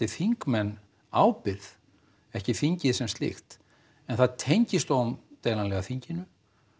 þingmenn ábyrgð ekki þingið sem slíkt en það tengist óumdeilanlega þinginu